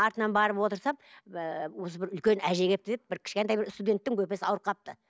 артынан барып отырсам осы бір үлкен әже келіпті деп бір кішкентай бір студенттің бөпесі ауырып қалыпты